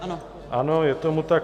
Ano, je tomu tak.